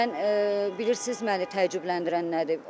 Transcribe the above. Mən bilirsiz məni təəccübləndirən nədir?